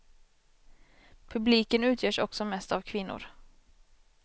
Publiken utgörs också mest av kvinnor.